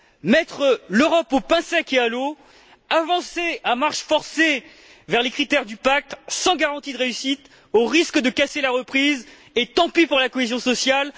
Mettre l'Europe au pain sec et à l'eau, avancer à marche forcée vers les critères du pacte sans garantie de réussite, au risque de casser la reprise et tant pis pour la cohésion sociale.